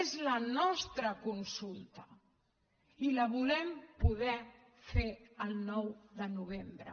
és la nostra consulta i la volem poder fer el nou de novembre